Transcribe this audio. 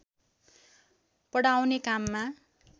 पढाउने काममा